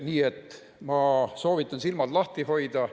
Nii et ma soovitan silmad lahti hoida.